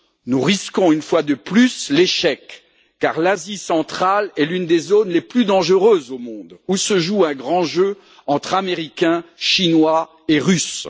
Nous risquons une fois de plus l'échec, car l'Asie centrale est l'une des zones les plus dangereuses au monde, où se joue un grand jeu entre Américains, Chinois et Russes.